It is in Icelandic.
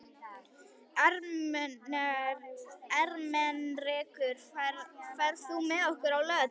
Ermenrekur, ferð þú með okkur á laugardaginn?